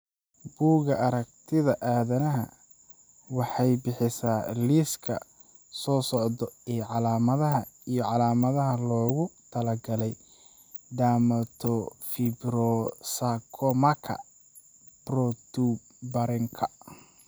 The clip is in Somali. Bugaa aragtida aDdanaha waxay bixisaa liiska soo socda ee calaamadaha iyo calaamadaha loogu talagalay Dermatofibrosarcomaka protuberanka.